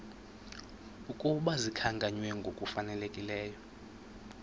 ukuba zikhankanywe ngokufanelekileyo